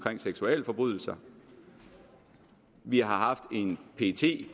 seksualforbrydelser vi har haft en pet